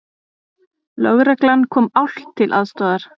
Lögreglan kom álft til aðstoðar